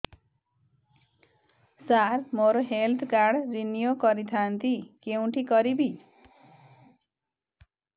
ସାର ମୋର health card renew କରିଥାନ୍ତି କେଉଁଠି କରିବି